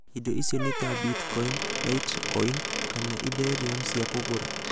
Indo icio nĩ ta Bitcoin, Litecoin, kana Ethereum cia kũgũra.